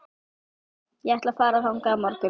Ég ætla að fara þangað á morgun.